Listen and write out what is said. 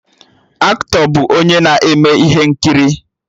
Aktọ bụ onye na-eme ihe nkiri